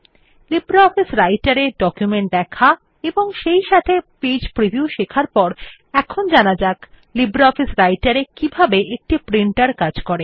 LibreOffice রাইটের এ document দেখা এবং সেইসাথে পেজ প্রিভিউ শেখার পরে এখন জানা যাক লিব্রিঅফিস রাইটের এ কিভাবে একটি প্রিন্টের কাজ করে